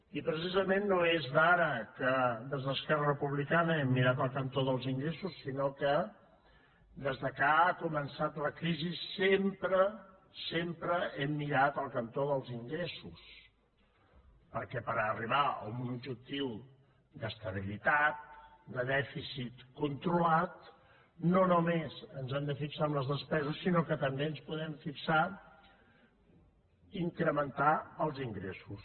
i precisament no és d’ara que des d’esquerra republicana hem mirat el cantó dels ingressos sinó que des que ha començat la crisi sempre sempre hem mirat el cantó dels ingressos perquè per arribar a un objectiu d’estabilitat de dèficit controlat no només ens hem de fixar en les despeses sinó que també ens podem fixar incrementar els ingressos